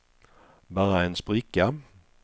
bara en spricka